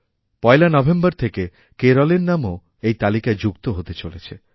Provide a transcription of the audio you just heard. ১ November থেকে কেরলের নামওএই তালিকায় যুক্ত হতে চলেছে